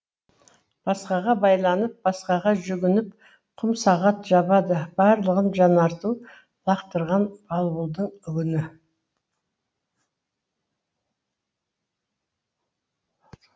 басқаға байланып басқаға жүгініп құмсағат жабады барлығын жанарту лақтырған балбалдың үгіні